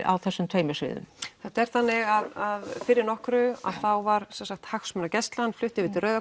á þessum tveimur sviðum það er þannig að fyrir nokkru var hagsmunagæslan flutt yfir í Rauða